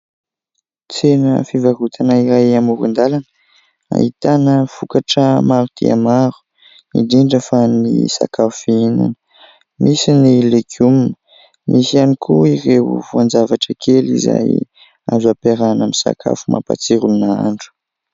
Tsena fivarotana iray amoron-dalana ahitana vokatra maro dia maro indrindra fa ny sakafo fihinana. Misy ny legioma, misy ihany koa ireo voan-javatra kely izay azo ampiarahina amin'ny sakafo mampatsiro ny nahandro.